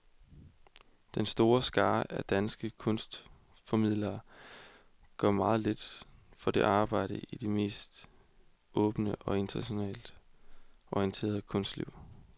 Den store skare af danske kunstformidlere gør meget lidt for at arbejde i det mere åbne og internationalt orienterede kunstliv.